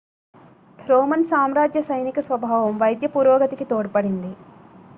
Roman సామ్రాజ్య సైనిక స్వభావం వైద్య పురోగతికి తోడ్పడింది